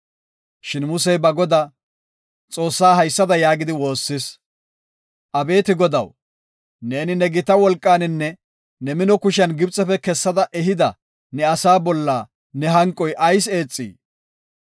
Shin Musey ba Godaa, Xoossaa haysada yaagidi woossis; “Abeeti Godaw, neeni ne gita wolqaaninne ne mino kushiyan Gibxefe kessada ehida ne asaa bolla ne hanqoy ayis eexii?